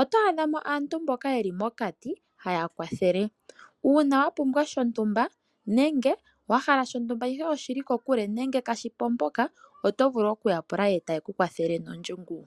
oto adha mo aantu mboka ye li mokati haya kwathele. Uuna wa pumbwa shontumba nenge wa hala shontumba ihe oshi li kokule nenge kaashi po mpoka oto vulu okuya pula e taa ku kwathele nondjungu.